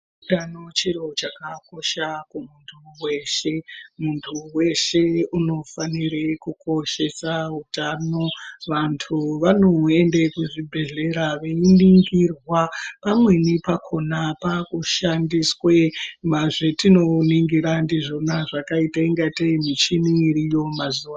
Utano chiro chakakosha kumuntu veshe muntu veshe unofanire kukoshesa utano. Vantu vanoende kuzvibhedhlera veiningirwa pamweni pakona pakushandiswe zvetinoningira ndizvona zvakaita unga tei michini iriyo mazuva ano.